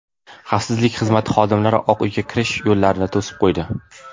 Xavfsizlik xizmati xodimlari Oq Uyga kirish yo‘llarini to‘sib qo‘ydi.